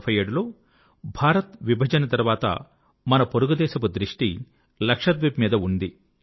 1947 లో భారత్ విభజన తర్వాత మన పొరుగు దేశపు దృష్టి లక్షద్వీప్ మీద ఉంది